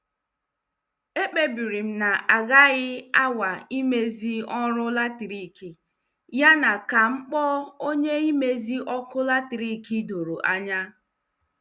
E kpebiri m na- agaghị anwa imezi ọrụ latrik, yana kam kpọọ onye imezi ọkụ latrik doro anya.